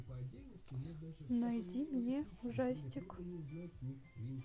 найди мне ужастик